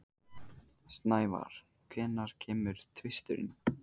Snævar, hvenær kemur tvisturinn?